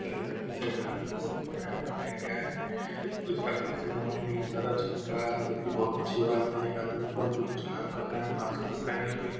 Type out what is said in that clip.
सरकारी ऑफिस है जहां कि बहुत बड़ा बनाया गया है और इसका फर्श एकदम आईने की तरह चमक रहा है जो कि बहुत अच्छी बात है और एक आदमी फोन पे कुछ काम कर रहा है मास्क भी पहने हुए है।